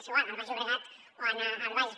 és igual al baix llobregat o anar al bages